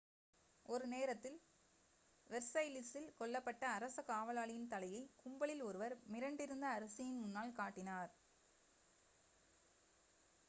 ஒரு 1 நேரத்தில் வெர்சைல்ஸ்சில் கொல்லப்பட்ட அரச காவலாளியின் தலையை கும்பலில் ஒருவர் மிரண்டிருந்த அரசியின் முன்னால் காட்டினார்